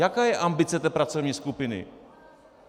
Jaká je ambice té pracovní skupiny?